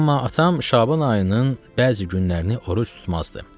Amma atam Şaban ayının bəzi günlərini oruc tutmazdı.